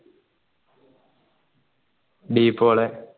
D Paul